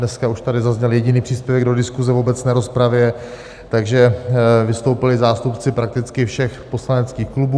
Dneska už tady zazněl jediný příspěvek do diskuze v obecné rozpravě, takže vystoupili zástupci prakticky všech poslaneckých klubů.